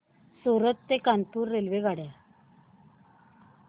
सूरत ते कानपुर रेल्वेगाड्या